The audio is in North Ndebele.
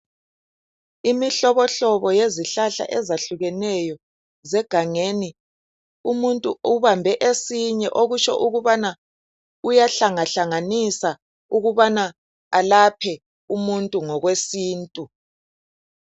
Imihlobohlobo yezihlahla ezehlukeneyo zasegangeni umuntu ubambe esinye okutsho okubana uyahlangahlanganisa ukubana alaphe umuntu ngokwesintu.